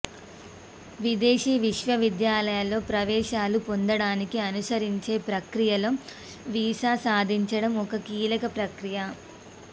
విదేశీ విశ్వవిద్యాలయాల్లో ప్రవేశాలు పొందడానికి అనుసరించే ప్రక్రియలో వీసా సాధించడం ఓ కీలక ప్రక్రియ